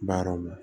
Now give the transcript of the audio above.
Baaraw la